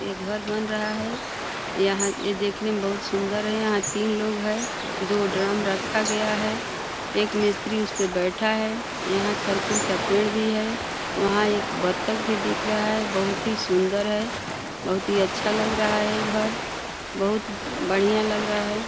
ये घर बन रहा है। यहाँ ये देखने में बहुत सुंदर है। यहाँ तीन लोग हैं। दो ड्रम रखा गया है। एक मिस्त्री उसपे बैठा है। यहाँ तरकुल का पेड़ भी है। वहां एक बत्तख भी दिख रहा है। बहुत ही सुंदर है। बहुत ही अच्छा लग रहा है घर। बहुत बढ़िया लग रहा है।